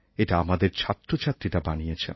এটা আমাদের ছাত্রছাত্রীরা বানিয়েছেন